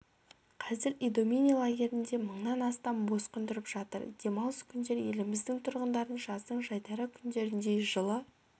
қазір идомени лагерінде мыңнан астам босқын тұрып жатыр демалыс күндер еліміздің тұрғындарын жаздың жайдары күндеріндей жылы